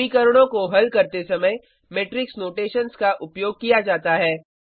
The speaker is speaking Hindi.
समीकरणों को हल करते समय मेट्रिक्स नोटेशन्स का उपयोग किया जाता है